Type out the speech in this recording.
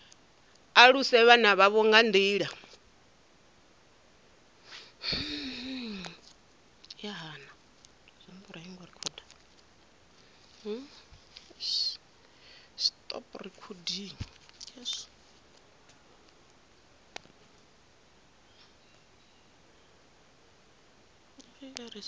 aluse vhana vhavho nga nḓila